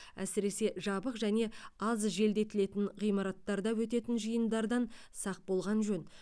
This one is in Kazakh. әсіресе жабық және аз желдетілетін ғимараттарда өтетін жиындардан сақ болған жөн